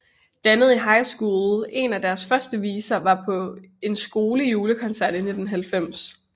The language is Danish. Dannet i high school en af deres første viser var på en skole julekoncert i 1990